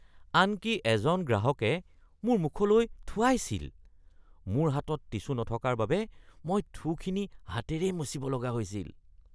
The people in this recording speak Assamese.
আনকি এজন গ্ৰাহকে মোৰ মুখলৈ থুৱাইছিল। মোৰ হাতত টিছু নথকাৰ বাবে মই থুখিনি হাতেৰেই মচিব লগা হৈছিল।